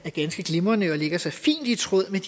er ganske glimrende og lægger sig fint i tråd med